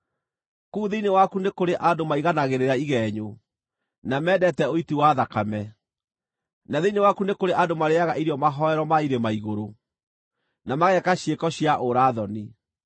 Kũu thĩinĩ waku nĩ kũrĩ andũ maiganagĩrĩra igenyo, na mendete ũiti wa thakame; na thĩinĩ waku nĩ kũrĩ andũ marĩĩaga irio mahooero ma irĩma-igũrũ, na mageeka ciĩko cia ũũra-thoni.